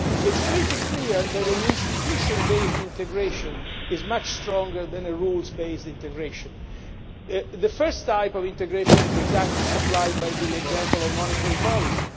It is pretty clear that an institution based integration is much stronger than a rules based integration. The first type of integration is exactly supplied by the example of monetary policy.